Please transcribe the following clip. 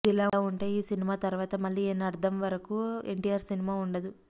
ఇదిలా వుంటే ఈ సినిమా తరువాత మళ్లీ ఏణ్ణర్థం వరకు ఎన్టీఆర్ సినిమా వుండదు